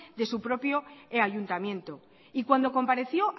de su propio ayuntamiento y cuando compareció